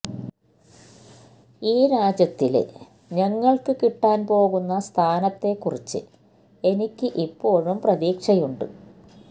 ഈ രാജ്യത്തില് ഞങ്ങള്ക്ക് കിട്ടാന് പോകുന്ന സ്ഥാനത്തെക്കുറിച്ച് എനിക്ക് ഇപ്പോഴും പ്രതീക്ഷയുണ്ട്